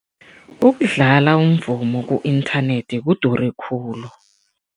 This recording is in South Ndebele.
Ukudlala umvumo ku-internet kudure khulu.